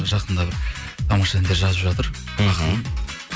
жақында бір тамаша әндер жазып жатыр ақын